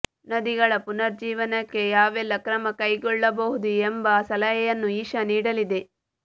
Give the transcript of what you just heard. ನದಿಗಳ ಪುನರುಜ್ಜೀವನಕ್ಕೆ ಯಾವೆಲ್ಲ ಕ್ರಮ ಕೈಗೊಳ್ಳಬಹುದು ಎಂಬ ಸಲಹೆಯನ್ನೂ ಇಶಾ ನೀಡಲಿದೆ